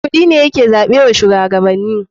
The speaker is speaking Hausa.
Kuɗi ne ya ke zaɓe wa shuwagabanni.